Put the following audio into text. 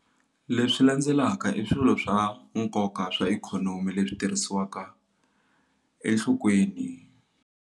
Leswi landzelaka i swilo swa nkoka swa ikhonomi leswi tirhisiwaka enhlokweni.